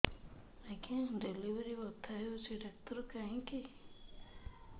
ଆଜ୍ଞା ଡେଲିଭରି ବଥା ହଉଚି ଡାକ୍ତର କାହିଁ କି